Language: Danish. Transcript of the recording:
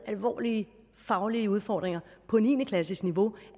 alvorlige faglige udfordringer på niende klasses niveau